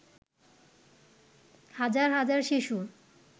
হাজার হাজার শিশু